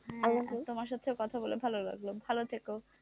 হ্যাঁ তোমার সাথে কথা বলে ভালো লাগলো ভালো থেকো,